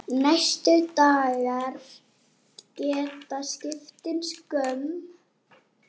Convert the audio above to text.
Næstu dagar geta skipt sköpum.